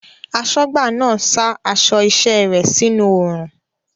Aṣọ́gbà náà sa aṣọ iṣẹ́ rẹ̀ sínú oòrùn